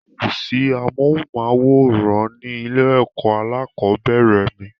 kòsí amóhùnmáwòrán ní ilé-ẹ̀kọ́ alákọ̀bẹ́ẹ́rẹ̀ mi.